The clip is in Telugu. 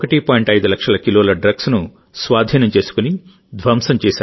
5 లక్షల కిలోల డ్రగ్స్ను స్వాధీనం చేసుకుని ధ్వంసం చేశారు